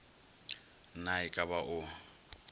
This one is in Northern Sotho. na e ka ba o